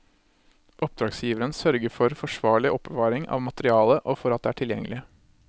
Oppdragsgiveren sørger for forsvarlig oppbevaring av materialet og for at det er tilgjengelig.